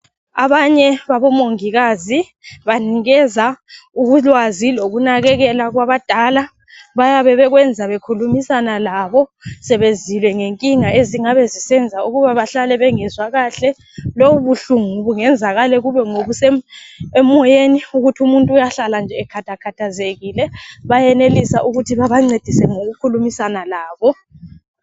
Abanye babomongikazi banikeza ulwazi lokunakekela kwabadala bayabe bekwenza bekhulumisana labo, sebezwile ngenkinga ezingabe zisenza ukuba bahlale bengezwa kahle. Lobu buhlungu bungenzakala bube ngobusemoyeni ukuthi umuntu uyahlala nje ekhathakhathazekile, bayenelisa ukuthi bebancedise ngokukhulumisana labo.